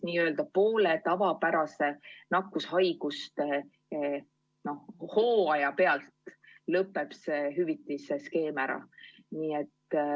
Nii-öelda poole tavapärase nakkushaiguste hooaja pealt lõpeb see hüvitise skeem ära.